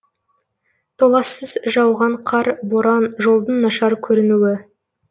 толассыз жауған қар боран жолдың нашар көрінуі